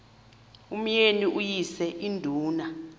umyeni uyise iduna